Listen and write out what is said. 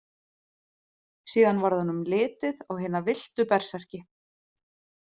Síðan varð honum litið á hina villtu berserki.